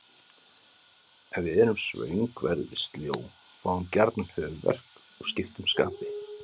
Ef við erum svöng verðum við sljó, fáum gjarnan höfuðverk og skiptum skapi.